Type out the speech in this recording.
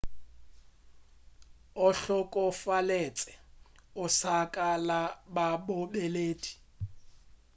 o hlokofaletše osaka ka labobedi